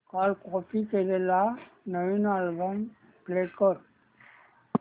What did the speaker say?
काल कॉपी केलेला नवीन अल्बम प्ले कर